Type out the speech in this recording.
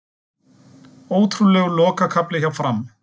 Ótrúlegur lokakafli hjá Fram